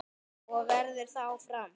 Og verður það áfram.